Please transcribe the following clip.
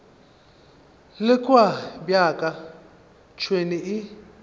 le kua bjaka tšhwene e